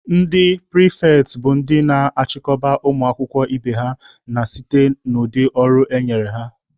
Ndị pịrịfetị bụ ndị na-achịkọba ụmụ akwụkwọ ibe ha na site n'ụdị ọrụ enyere ha.